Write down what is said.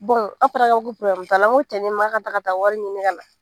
an fana t'a la ko cɛni man kan ka taa ka taga wari ɲini ka na